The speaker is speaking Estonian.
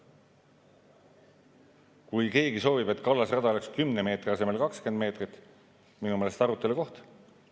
Kui keegi soovib, et kallasrada oleks 10 meetri asemel 20 meetrit, siis minu meelest on see arutelu koht.